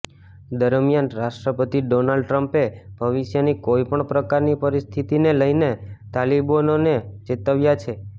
દરમિયાન રાષ્ટ્રપતિ ડોનાલ્ડ ટ્રમ્પે ભવિષ્યની કોઇ પણ પ્રકારની પરિસ્થિતિને લઇને તાલિબાનોને ચેતવ્યાં છે